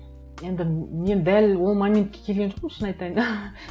енді мен дәл ол моментке келген жоқпын шын айтайын